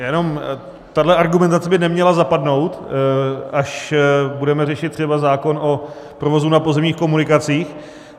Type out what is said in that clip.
Jenom tahle argumentace by neměla zapadnout, až budeme řešit třeba zákon o provozu na pozemních komunikacích.